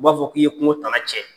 U b'a fɔ k'i ye kungo tana cɛn.